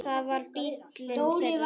Það var bíllinn þeirra.